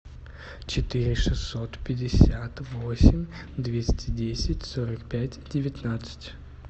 четыре шестьсот пятьдесят восемь двести десять сорок пять девятнадцать